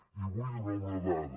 i vull donar una dada